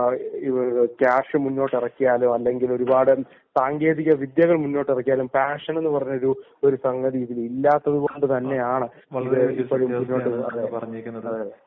നമ്മൾ എത്ര കാഷ് മുന്നോട്ട് ഇറക്കിയാലും അല്ലെങ്കിൽ ഒരുപാട് സാങ്കേതിക വിദ്യകൾ മുന്നോട്ട് ഇറക്കിയാലും പാഷൻ എന്ന് പറയുന്നത് ഇതിൽ ഇല്ലാത്ത കൊണ്ടുതന്നെയാണ് നമ്മൾ ഇപ്പോഴും